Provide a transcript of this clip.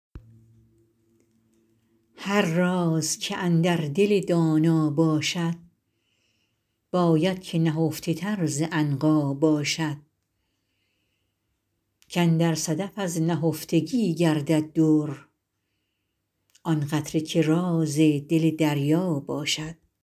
هر راز که اندر دل دانا باشد باید که نهفته تر ز عنقا باشد کاندر صدف از نهفتگی گردد در آن قطره که راز دل دریا باشد